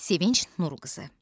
Sevinc Nurqızı.